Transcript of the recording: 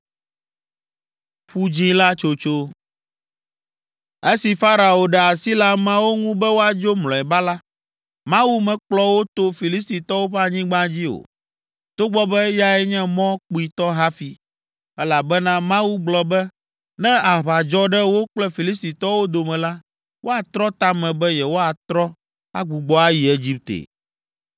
Esi Farao ɖe asi le ameawo ŋu be woadzo mlɔeba la, Mawu mekplɔ wo to Filistitɔwo ƒe anyigba dzi o, togbɔ be eyae nye mɔ kpuitɔ hafi, elabena Mawu gblɔ be ne aʋa dzɔ ɖe wo kple Filistitɔwo dome la, woatrɔ ta me be yewoatrɔ, agbugbɔ ayi Egipte.